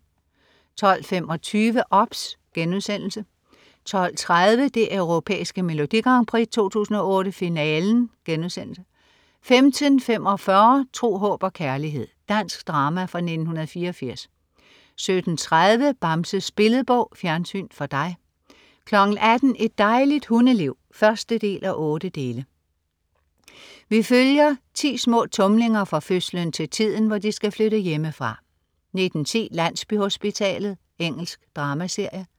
12.25 OBS* 12.30 Det Europæiske Melodi Grand Prix 2008, Finale* 15.45 Tro, håb og kærlighed. Dansk drama fra 1984 17.30 Bamses Billedbog. Fjernsyn for dig 18.00 Et dejligt hundeliv 1:8. Vi følger 10 små tumlinger fra fødslen til tiden, hvor de skal flytte hjemmefra 19.10 Landsbyhospitalet. Engelsk dramaserie